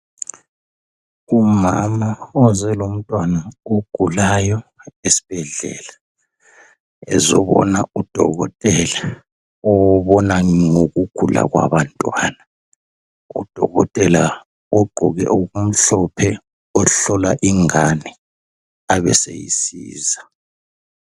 Umama oze lomntwana ogulayo esibhedlela ezobona udokotela obona ngokugula kwabantwana. Udokotela ugqoke okumhlophe ohlola ingane abeseyisiza.